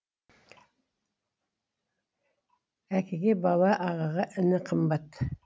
әкеге бала ағаға іні қымбат